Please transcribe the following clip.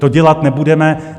To dělat nebudeme.